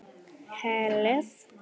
Hellið í fjögur glös.